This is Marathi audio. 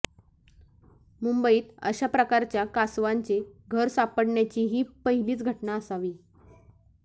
मुंबईत अशा प्रकारच्या कासवांचे घर सापडण्याची ही पहिलीच घटना असावी